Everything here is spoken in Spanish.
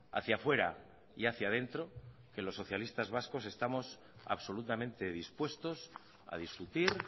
hacia fuera y hacia dentro que los socialistas vascos estamos absolutamente dispuestos a discutir